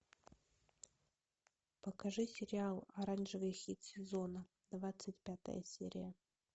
покажи сериал оранжевый хит сезона двадцать пятая серия